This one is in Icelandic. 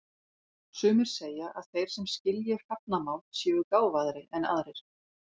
Sumir segja að þeir sem skilji hrafnamál séu gáfaðri en aðrir.